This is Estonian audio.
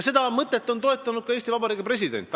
Seda mõtet on toetanud ka Eesti Vabariigi president.